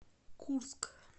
курск